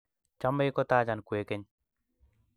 chomei kotachan kwekeny